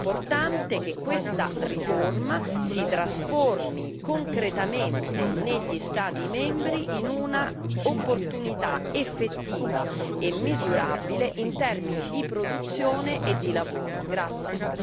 Ora è importante che questa riforma si trasformi concretamente negli Stati membri in un'opportunità effettiva e misurabile in termini di produzione e di lavoro.